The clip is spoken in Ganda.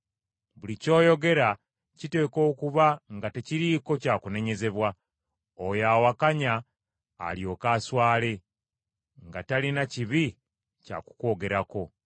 Buli ky’oyogera kiteekwa okuba nga tekiriiko kya kunenyezebwa, oyo awakanya alyoke aswale, nga talina kibi kya kukwogerako.